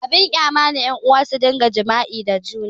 Abin kyama ne ƴan'uwa su rika jima'i da junansu